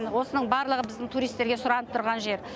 осының барлығы біздің туристерге сұранып тұрған жер